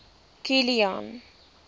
kilian